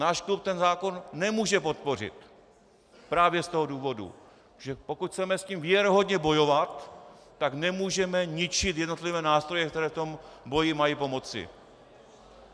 Náš klub ten zákon nemůže podpořit právě z toho důvodu, že pokud chceme s tím věrohodně bojovat, tak nemůžeme ničit jednotlivé nástroje, které v tom boji mají pomoci.